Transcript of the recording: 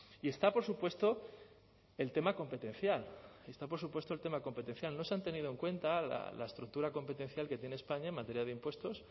y está por supuesto el tema competencial está por supuesto el tema competencial no se han tenido en cuenta la estructura competencial que tiene españa en materia de impuestos